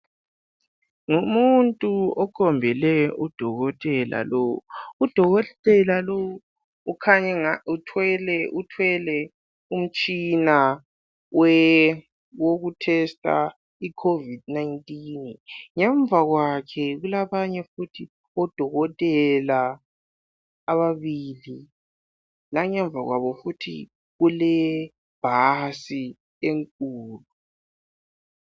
Ngumuntu okhombele udokotela lowu, udokotela lowu ukhanya engani uthwele umtshina wokuhlola iCovid 19. Ngemva kwakhe kulabanye futhi odokotela ababili langemva kwabo futhi kulebhasi enkulu.